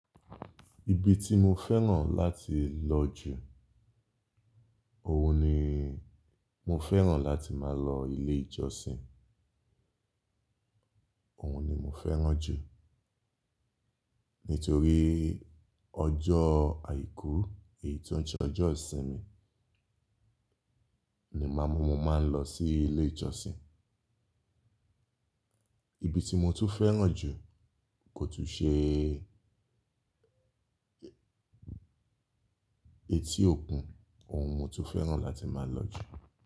Ibi tí mo fẹ́ràn láti lọ jù, òun ni mo fẹ́ràn láti máa lọ ilé ìjọsìn. Òun ni mo fẹ́ràn jù. Nítorí ọjọ́ àìkú èyí tó ń ṣe ọjọ́ ìsinmi ni màá mú mo máa ń lọ sí ilé ìjọsìn. Ibi tí mo tún fẹ́ràn jù kò tún ṣe eti òkun, òun mo tún fẹ́ràn láti máa lọ jù.